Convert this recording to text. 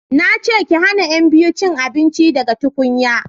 na ce ki hana yan biyun cin abinci daga tukunya!